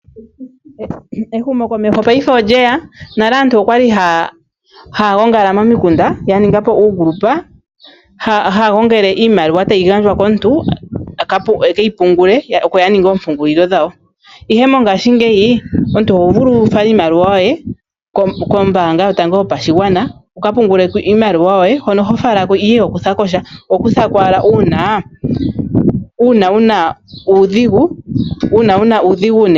Ehumokomeho paife olyeya nale aantu okwali haya gongala momikunda yaninga po uungundu. Haya gongele iimaliwa tayi gandjwa komuntu ekeyi pungule oko yaninga ompungulilo dhaw. Ihe mongashingeyi omuntu ohovulu wufale iimaliwa yoye kombaanga yotango yopashigwana wukapungule ko iimaliwa yoye hono hofala ko ihe ihokutha ko sha, ohokutha ko owala uuna wuna uudhigu.